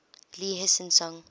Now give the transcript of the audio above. lee hsien loong